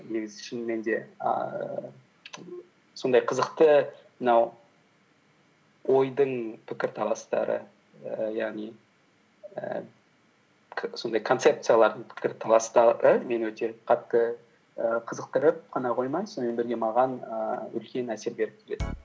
негізі шынымен де ііі сондай қызықты мынау ойдың пікірталастары ііі яғни ііі сондай концепциялардың пікірталастары мені өте қатты і қызықтырып қана қоймай сонымен бірге маған ііі үлкен әсер беріп